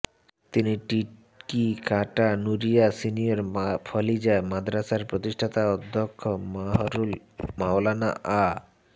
তিনি টিকিকাটা নূরিয়া সিনিয়র ফাজিলা মাদ্রাসার প্রতিষ্ঠাতা অধ্যক্ষ মরহুম মাওলানা আ